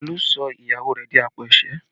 Olú sọ ìyàwó rẹ̀ di àpò ẹ̀sẹ́